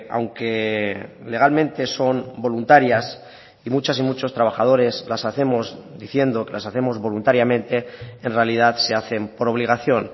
aunque legalmente son voluntarias y muchas y muchos trabajadores las hacemos diciendo que las hacemos voluntariamente en realidad se hacen por obligación